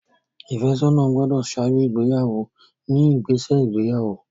Ìfẹ́sọ́nà gbọ́dọ̀ ṣáájú ìgbéyàwó ní ìgbésẹ̀ ìgbéyàwó.